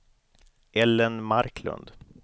Ellen Marklund